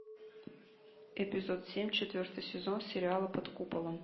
эпизод семь четвертый сезон сериала под куполом